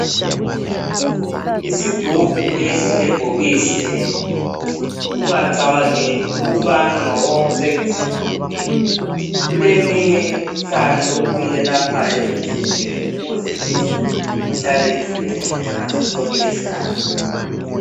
Isigubhu lesi lebhokisi leli, ungacabangeli ukubana ngokokucecisa nje kuphela. Kuleminye imikhuhlane okuyiyelaphayo emzimbeni ukuze imizimba ihlale ivikelekile ngaso sonke isikhathi.